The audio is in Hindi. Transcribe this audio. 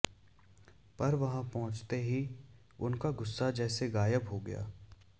पर वहां पहुंचते ही उनका गुस्सा जैसे गायब हो गया